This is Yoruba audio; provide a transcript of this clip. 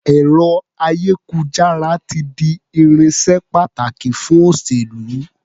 Ẹ̀rọ-ayékujára ti di irinṣẹ́ pàtàkì fún òṣèlú.